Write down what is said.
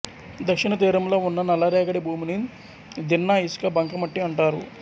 దక్షిణతీరంలో ఉన్న నల్లరేగడి భూమిని దిన్నా ఇసుక బంకమట్టి అంటారు